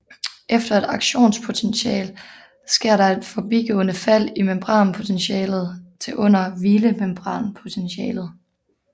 Efter et aktionspotential sker der et forbigående fald i membranpotentialet til under hvilemembranpotentialet